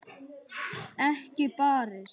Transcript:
Ekki barist.